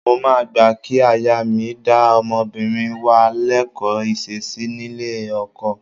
Mo máa gbà kí aya mi dá ọmọbìnrin wa lẹ́kọ̀ọ́ ìṣesí nílé ọkọ.